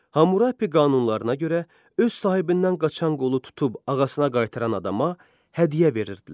Hammurapi qanunlarına görə öz sahibindən qaçan qulu tutub ağasına qaytaran adama hədiyyə verirdilər.